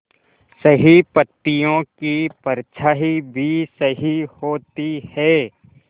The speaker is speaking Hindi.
सही पत्तियों की परछाईं भी सही होती है